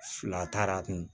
Fila taara a kun